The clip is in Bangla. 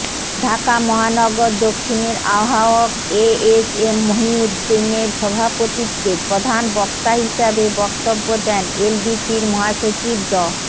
ঢাকা মহানগর দক্ষিণের আহ্বায়ক এএসএম মহিউদ্দিনের সভাপতিত্বে প্রধান বক্তা হিসেবে বক্তব্য দেন এলডিপির মহাসচিব ড